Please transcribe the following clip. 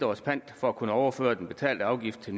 års pant for at kunne overføre den betalte afgift til